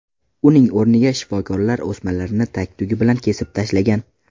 Uning o‘rniga shifokorlar o‘smalarni tag-tugi bilan kesib tashlagan.